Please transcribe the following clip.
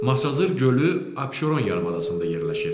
Masazır gölü Abşeron yarımadasında yerləşir.